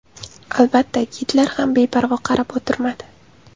Albatta, Gitler ham beparvo qarab o‘tirmadi.